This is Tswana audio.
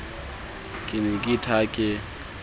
ke ne ke ithaya ke